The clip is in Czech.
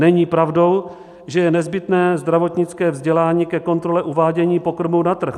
Není pravdou, že je nezbytné zdravotnické vzdělání ke kontrole uvádění pokrmů na trh.